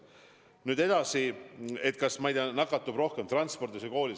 Nüüd edasi: kas nakatub rohkem transpordis või koolis?